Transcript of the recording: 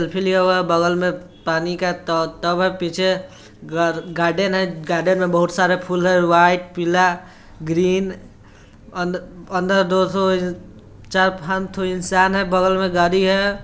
बरफीली हवा है| बगल में पानी का ट टब है| पीछे गा गार्डन है| गार्डन में बहुत सारे फूल है वाइट पीला ग्रीन | अंद अंदर दो चार फालतू इंसान है बगल में गाडी है।